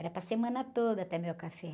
Era para semana toda também o café.